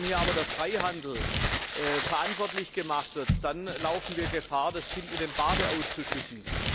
Wenn hier aber der Freihandel verantwortlich gemacht wird, dann laufen wir Gefahr, das Kind mit dem Bade auszuschütten.